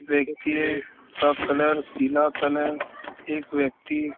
व्यक्ति है का कलर पीला कलर एक व्यक्ति--